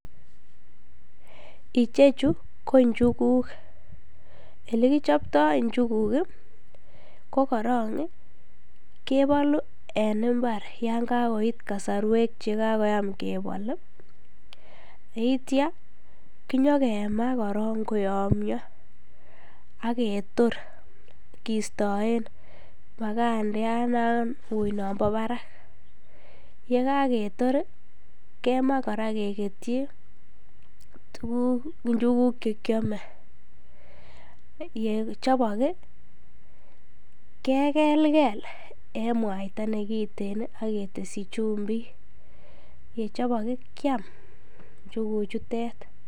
Ichechu ko njukuk, elekichopto njukuk ko korong kebolu en imbar yoon kakoit kosorwek chekakoyam kebol yeityo kinyokemaa korong koyomnyo ak ketor kistoen makandiat nauui kistoen nombo barak, yekaketor kemaa kora keketyi tukuk njukuk chekiome, yechobok kekelkel en mwaita nekiten ak ketesyi chumbik, yechobok kiam njuku chutet.